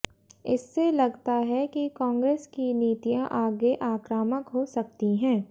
इससे लगता है कि कांग्रेस की नीतियां आगे आक्रामक हो सकती हैं